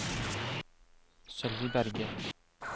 Sølvi Berge